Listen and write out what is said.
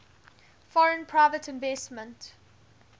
foreign private investment